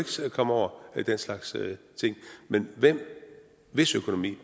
komme over den slags ting men hvis økonomi